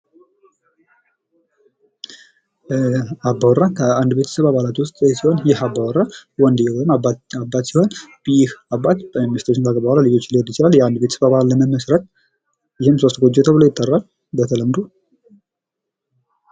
አባወራ ከአንድ ቤተሰብ አባላት ውስጥ ሲሆን ይህ አባወራ ወንድዬ ወይም አባትየው ሲሆን በሚስቶችና በባባሎች ልጆች ሊወልዱ ይችላል ቤተሰብ ለመመስረት የህም ጎጆ ተብሎ ይጠራል በተለምዶ።